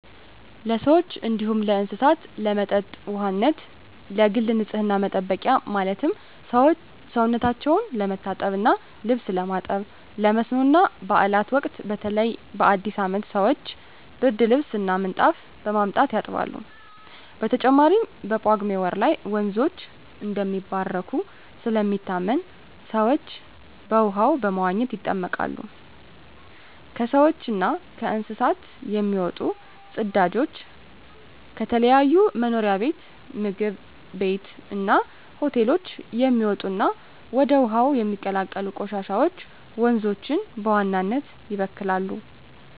ለሰዎች እንዲሁም ለእስሳት ለመጠጥ ውሃነት፣ ለግል ንፅህና መጠበቂያ ማለትም ሰውነታቸው ለመታጠብ እና ልብስ ለማጠብ፣ ለመስኖ እና ባእላት ወቅት በተለይ በአዲስ አመት ሰወች ብርድልብስ እና ምንጣፍ በማምጣት ያጥባሉ። በተጨማሪም በጳጉሜ ወር ላይ ወንዞች እንደሚባረኩ ስለሚታመን ሰወች በውሃው በመዋኘት ይጠመቃሉ። ከሰውች እና ከእንስሳት የሚወጡ ፅዳጆች፣ ከተለያዩ መኖሪያ ቤት ምግብ ቤት እና ሆቴሎች የሚወጡ እና ወደ ውሀው የሚቀላቀሉ ቆሻሻወች ወንዞችን በዋናነት ይበክላሉ።